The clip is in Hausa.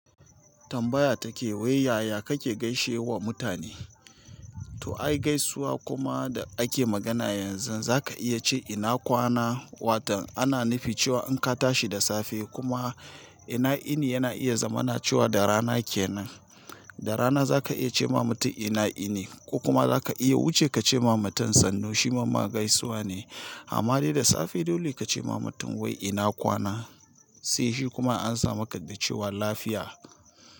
Tambaya take wai yaya kake gaishewa mutane to ai gaisuwa kuma da ake magana yanzu za ka iya ce ina kwana, watan ana nufi cewa in ka tashi da safe kuma ina ini yana iya zama na cewa da rana kenan. Da rana zaka iya cema mutum ina ini ko kuma zaka iya wuce kace ma mutum sannu shima gaisuwane amma dai da safe dole ka ce ma mutum wai ina kwana, sai shi kuma an sa maka da cewa lafiya.